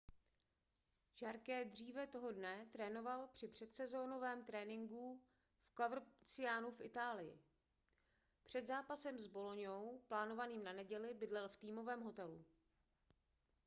jarque dříve toho dne trénoval při předsezónovém tréninku v covercianu v itálii před zápasem s boloňou plánovaným na neděli bydlel v týmovém hotelu